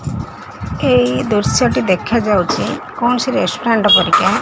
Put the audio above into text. ଏଇ ଦୃଶ୍ୟ ଟି ଦେଖାଯାଉଛି କୋଣସି ରେଷ୍ଟୁରାଣ୍ଟ ପରିକା।